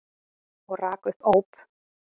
Og rak upp óp.